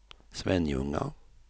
Svenljunga